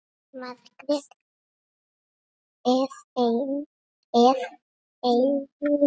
Margrét er eftir ein.